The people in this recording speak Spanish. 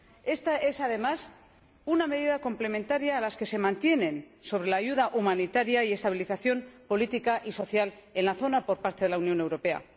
Esta es, además, una medida complementaria a las que se mantienen sobre la ayuda humanitaria y la estabilización política y social en la zona por parte de la Unión Europea.